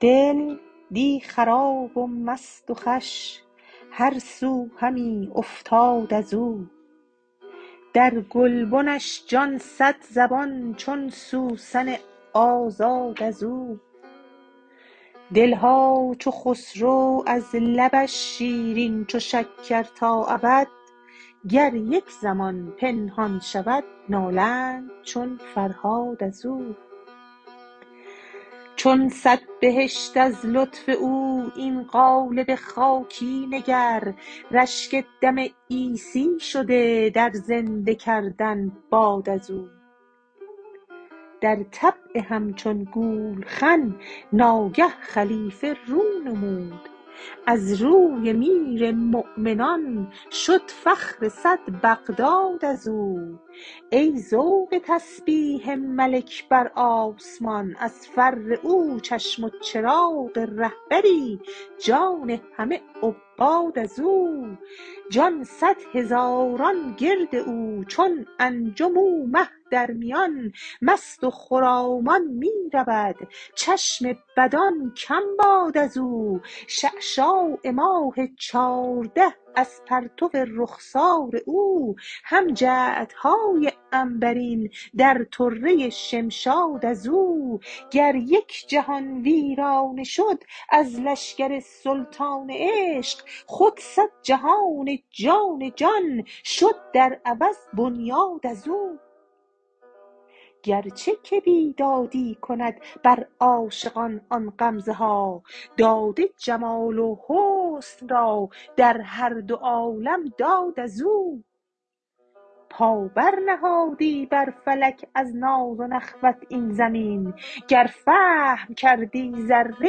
دل دی خراب و مست و خوش هر سو همی افتاد از او در گلبنش جان صدزبان چون سوسن آزاد از او دل ها چو خسرو از لبش شیرین چو شکر تا ابد گر یک زمان پنهان شود نالند چون فرهاد از او چون صد بهشت از لطف او این قالب خاکی نگر رشک دم عیسی شده در زنده کردن باد از او در طبع همچون گولخن ناگه خلیفه رو نمود از روی میر مؤمنان شد فخر صد بغداد از او ای ذوق تسبیح ملک بر آسمان از فر او چشم و چراغ رهبری جان همه عباد از او جان صد هزاران گرد او چون انجم او مه در میان مست و خرامان می رود چشم بدان کم باد از او شعشاع ماه چارده از پرتو رخسار او هم جعدهای عنبرین در طره شمشاد از او گر یک جهان ویرانه شد از لشکر سلطان عشق خود صد جهان جان جان شد در عوض بنیاد از او گرچه که بیدادی کند بر عاشقان آن غمزه ها داده جمال و حسن را در هر دو عالم داد از او پا برنهادی بر فلک از ناز و نخوت این زمین گر فهم کردی ذره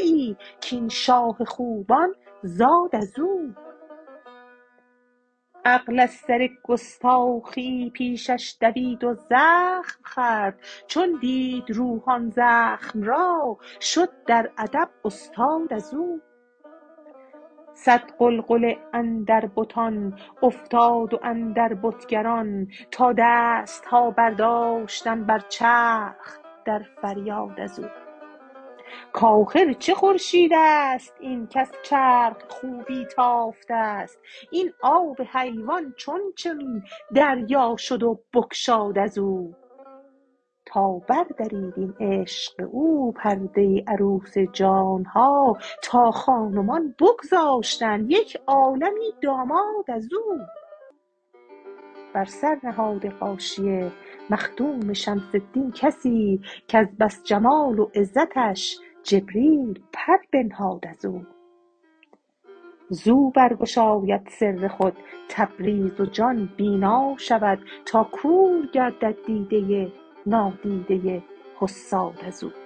ای کاین شاه خوبان زاد از او عقل از سر گستاخیی پیشش دوید و زخم خورد چون دید روح آن زخم را شد در ادب استاد از او صد غلغله اندر بتان افتاد و اندر بتگران تا دست ها برداشتند بر چرخ در فریاد از او کآخر چه خورشید است این کز چرخ خوبی تافته ست این آب حیوان چون چنین دریا شد و بگشاد از او تا بردرید این عشق او پرده عروس جان ها تا خان و مان بگذاشتند یک عالمی داماد از او بر سر نهاده غاشیه مخدوم شمس الدین کسی کز بس جمال عزتش جبریل پر بنهاد از او زو برگشاید سر خود تبریز و جان بینا شود تا کور گردد دیده نادیده حساد از او